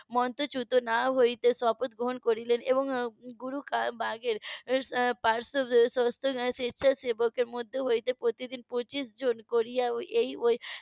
মন্ত্র চুতো না হতে শপথ গ্রহণ করলেন এবং গুরু বাগের . স্বেচ্ছা সেবকের মধ্যে হতে পঁচিশ জন করে এই ওই